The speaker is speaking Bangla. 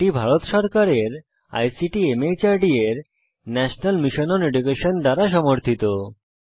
এটি ভারত সরকারের আইসিটি মাহর্দ এর ন্যাশনাল মিশন ওন এডুকেশন দ্বারা সমর্থিত